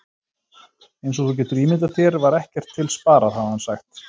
Eins og þú getur ímyndað þér var ekkert til sparað, hafði hann sagt.